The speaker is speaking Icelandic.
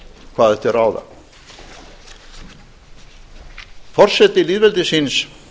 hvað er til ráða forseti lýðveldisins